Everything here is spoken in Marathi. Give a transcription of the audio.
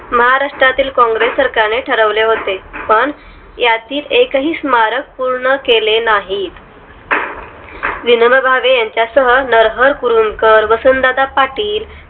महाराष्ट्रातील काँग्रेस सरकारने ठरवले होते पण यातील एक ही स्मारक पूर्ण केले नाहीत विनोबा भावे यांच्या सह नरहर कुरुंदकर वसंतदादा पाटील